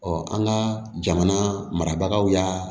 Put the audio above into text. an ka jamana marabagaw y'a